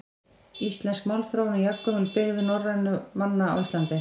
Íslensk málþróun er jafngömul byggð norrænna manna á Íslandi.